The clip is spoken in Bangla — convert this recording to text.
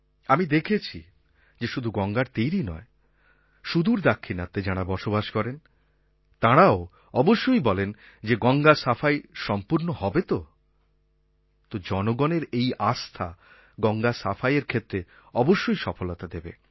আমি দেখেছি যে শুধু গঙ্গার তীরই নয় সুদূর দাক্ষিণাত্যে যাঁরা বসবাস করেন তাঁরাও অবশ্যই বলেন যে গঙ্গা সাফাই সম্পূর্ণ হবে তো তো জনগণের এই আস্থা গঙ্গা সাফাইয়ের ক্ষেত্রে অবশ্যই সফলতা দেবে